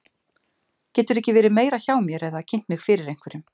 Geturðu ekki verið meira hjá mér eða kynnt mig fyrir einhverjum.